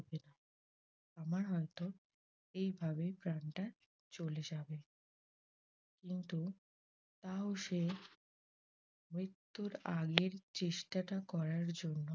আমার হয়ত এভাবে প্রাণটা চলে যাবে। কিন্তু তাও সে মৃত্যুর আগের চেষ্টাটা করার জন্য